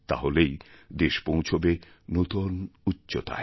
তাহলেই দেশ পৌঁছবে নতুনউচ্চতায়